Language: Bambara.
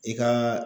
I ka